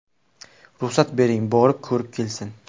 Ruxsat bering, borib, ko‘rib kelsin.